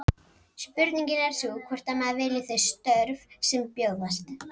Spurningin er sú hvort að maður vilji þau störf sem bjóðast.